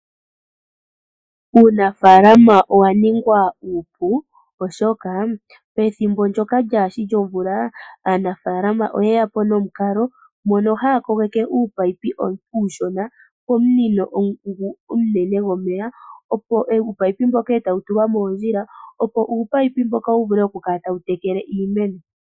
Uunafaalama owa ningwa uupu, oshoka pethimbo ndyoka lyaashi lyomvula aanafaalama oye ya po nomukalo mono haya kogeke uupaipi mboka uushona komunino ngu omunene gomeya, uupaipi mboka e tawu tulwa moondjila, opo uupaipi mboka wu vule oku kala tawu tekele iimeno.